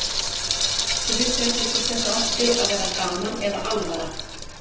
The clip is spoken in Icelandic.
Þau vissu ekki hvort þetta átti að vera gaman eða alvara.